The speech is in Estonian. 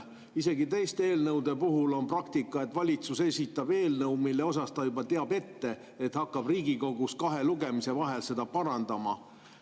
Isegi teiste eelnõude puhul on praktika, et valitsus esitab eelnõu, mille puhul ta juba teab ette, et hakkab Riigikogus kahe lugemise vahel seda parandama.